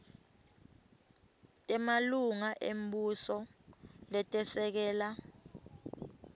temalunga embuso letesekela